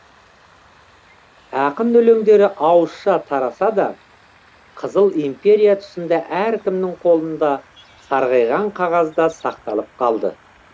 ақын өлеңдері ауызша тараса да қызыл империя тұсында әркімнің қолында сарғайған қағазда сақталып қалды